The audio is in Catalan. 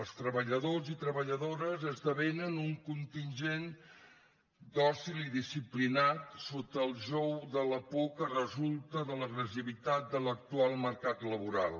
els treballadors i treballadores esdevenen un contingent dòcil i disciplinat sota el jou de la por que resulta de l’agressivitat de l’actual mercat laboral